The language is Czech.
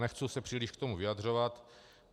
Nechci se příliš k tomu vyjadřovat.